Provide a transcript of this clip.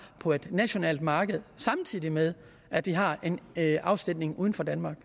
på et nationalt marked samtidig med at de har en afsætning uden for danmark